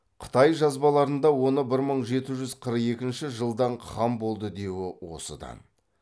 қытай жазбаларында оны бір мың жеті жүз қырық екінші жылдан хан болды деуі осыдан